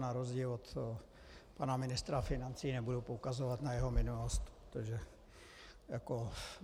Na rozdíl od pana ministra financí nebudu poukazovat na jeho minulost.